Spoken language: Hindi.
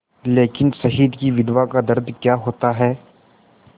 लेकिन शहीद की विधवा का दर्द क्या होता है